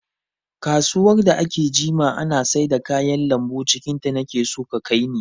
Kasuwar da aka jima ana saida kayan lambu cikin ta, nake so ki kai ni!